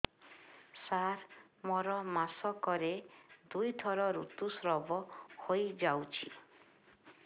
ସାର ମୋର ମାସକରେ ଦୁଇଥର ଋତୁସ୍ରାବ ହୋଇଯାଉଛି